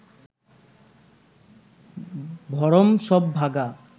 ভরম সব ভাগা